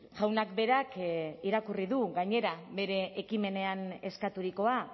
jaunak berak irakurri du gainera bere ekimenean eskaturikoa